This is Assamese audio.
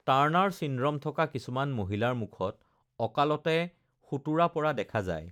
টাৰ্নাৰ চিণ্ড্ৰম থকা কিছুমান মহিলাৰ মুখত অকালতে শোটোৰা পৰা দেখা যায়৷